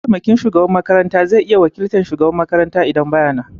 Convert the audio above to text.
Mataimakin shugaban makaranta zai iya wakiltan shugaban makaranta idan baya nan.